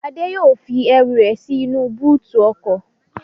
Adé yóò fi ẹrù rẹ̀ sí inú bóòtù ọkọ̀